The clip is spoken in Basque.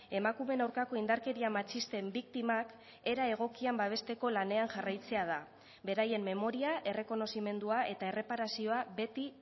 emakumeen aurkako indarkeria matxisten biktimak era egokian babesteko lanean jarraitzea da beraien memoria errekonozimendua eta erreparazioa beti